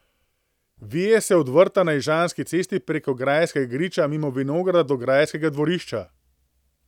Vije se od vrta na Ižanski cesti preko grajskega griča, mimo vinograda, do grajskega dvorišča.